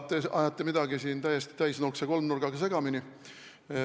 Te ajate siin midagi täiesti täisnurkse kolmnurgaga segamini.